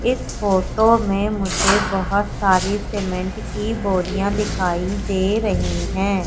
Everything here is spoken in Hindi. इस फोटो में मुझे बहुत सारी सीमेंट की बोरिया दिखाई दे रही है।